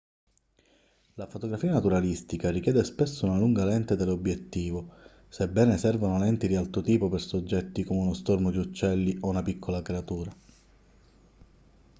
la fotografia naturalistica richiede spesso una lunga lente teleobiettivo sebbene servano lenti di altro tipo per soggetti come uno stormo di uccelli o una piccola creatura